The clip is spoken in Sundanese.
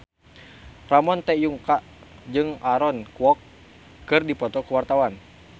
Ramon T. Yungka jeung Aaron Kwok keur dipoto ku wartawan